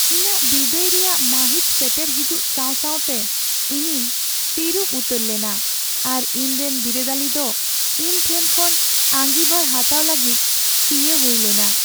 ᱤᱧᱟᱹᱜ ᱵᱤᱫᱟᱹᱭ ᱨᱮᱭᱟᱜ ᱢᱟᱹᱦᱤᱛ ᱥᱮᱴᱮᱨ ᱦᱤᱡᱩᱜ ᱥᱟᱶ ᱥᱟᱶᱛᱮ ᱤᱧᱤᱧ ᱛᱤᱨᱩᱵ ᱩᱛᱟᱹᱨ ᱞᱮᱱᱟ ᱟᱨ ᱤᱧᱨᱮᱱ ᱵᱤᱨᱟᱹᱫᱟᱹᱞᱤ ᱫᱚ ᱤᱧ ᱴᱷᱮᱱ ᱠᱷᱚᱱ ᱟᱸᱜᱤᱵᱷᱟᱨ ᱦᱟᱛᱟᱣ ᱞᱟᱹᱜᱤᱫ ᱪᱤᱭᱟᱹ ᱦᱩᱭ ᱞᱮᱱᱟ ᱾